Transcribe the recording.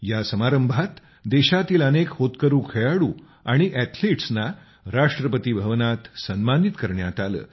या समारंभात देशातील अनेक होतकरू खेळाडू आणि ऍथलेट्स ना राष्ट्रपती भवनात सन्मानित करण्यात आले